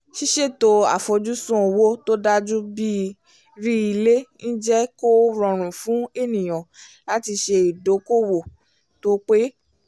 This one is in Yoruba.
ṣíṣètò àfojúsùn owó tó dájú bíi rí ilé ń jẹ́ kó rọrùn fún ènìyàn láti ṣe ìdokoowó tó pé